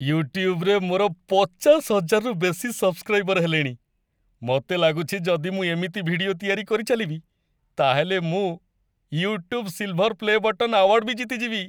ୟୁଟ୍ୟୁବ୍‌ରେ ମୋର ପଚାଶ ହଜାରରୁ ବେଶି ସବ୍‌ସ୍କ୍ରାଇବର୍ ହେଲେଣି । ମତେ ଲାଗୁଛି ଯଦି ମୁଁ ଏମିତି ଭିଡିଓ ତିଆରି କରିଚାଲିବି, ତା'ହେଲେ ମୁଁ "YouTube silver play' button" award ବି ଜିତିଯିବି ।